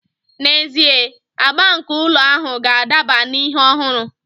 N'ezie, agba nke ụlọ ahụ ga-adaba na ihe ọhụrụ